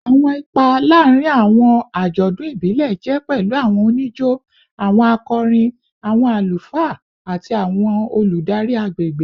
Awọn ipa laarin awọn ajọdun ibile jẹ pẹlu awọn onijo, awọn akọrin, awọn alufaa, ati awọn oludari agbegbe